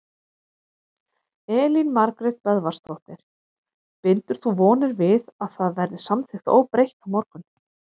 Elín Margrét Böðvarsdóttir: Bindur þú vonir við að það verði samþykkt óbreytt á morgun?